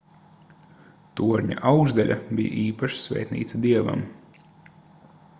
torņa augšdaļa bija īpaša svētnīca dievam